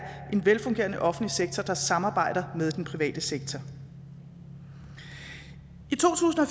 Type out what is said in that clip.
en velfungerende offentlig sektor der samarbejder med den private sektor i